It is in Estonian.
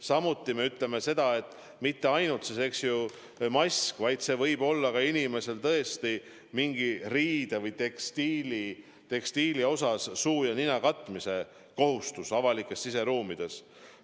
Samuti me ütleme seda, et mitte ainult mask ei kaitse, vaid see võib olla ka mingi riie, mingi tekstiil, millega kaetakse suu ja nina avalikes siseruumides.